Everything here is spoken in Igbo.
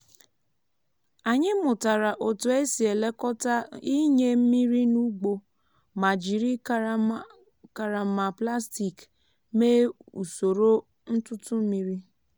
anyị mụtara otu esi elekọta ịnye mmiri n'ugbo ma jiri karama plastik mee usoro ntụtụ mmiri.